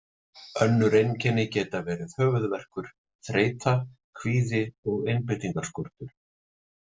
Önnur einkenni geta verið höfuðverkur, þreyta, kvíði og einbeitingarskortur.